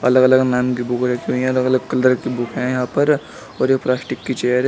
अलग अलग नाम की बुक रखी हुई है अलग अलग कलर की बुक है यहां पर और एक प्लास्टिक की चेयर है।